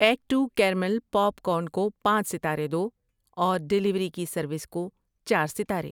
Act two caramel popcorn کو پانچ ستارے دو اور ڈیلیوری کی سروس کو چار ستارے۔